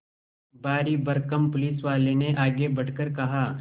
भारीभरकम पुलिसवाले ने आगे बढ़कर कहा